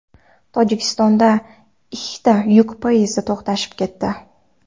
Tojikistonda ikkita yuk poyezdi to‘qnashib ketdi.